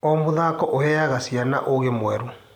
O mũthako ũheaga ciana ũũgĩ mwerũ.